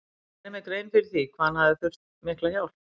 Ég gerði mér grein fyrir því hvað hann hefði þurft mikla hjálp.